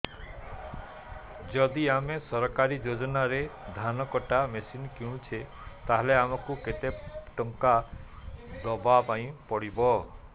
ଯଦି ଆମେ ସରକାରୀ ଯୋଜନାରେ ଧାନ କଟା ମେସିନ୍ କିଣୁଛେ ତାହାଲେ ଆମକୁ କେତେ ଟଙ୍କା ଦବାପାଇଁ ପଡିବ